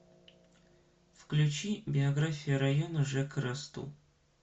включи биография района жека расту